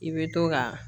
I bɛ to ka